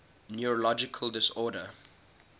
neurological disorders